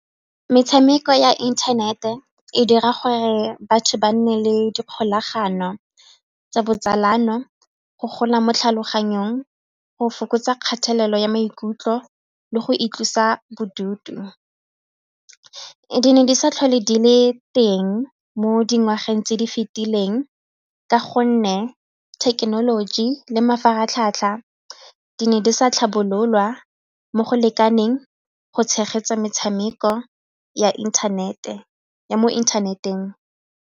Metshameko ya internet-e e dira gore batho ba nne le dikgolagano tsa botsalano, go gola mo tlhaloganyong, go fokotsa kgatelelo ya maikutlo le go itlosa bodutu. Di ne di sa tlhole di le teng mo dingwageng tse di fetileng ka gonne thekenoloji le mafaratlhatlha di ne di sa tlhabololwa mo go lekaneng go tshegetsa metshameko ya mo inthaneteng.